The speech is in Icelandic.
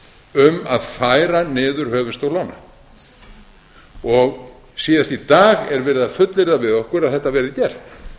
um að færa niður höfuðstól lána síðast í dag er verið að fullyrða við okkur að þetta verði gert